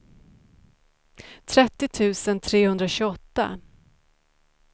trettio tusen trehundratjugoåtta